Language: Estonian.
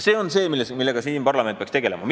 See on see, millega parlament peaks tegelema.